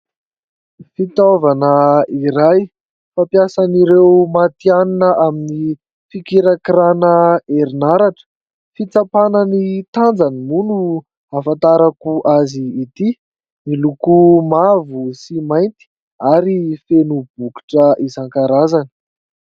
Fitaovana iray fampiasan'ireo matihanina amin'ny fikirakirana herinaratra : fitsapana ny tanjany moa no ahafantarako azy ity, miloko mavo sy mainty ary feno bokotra isankarazany.